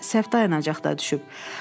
Bəlkə də səhv dayanacaqda düşüb.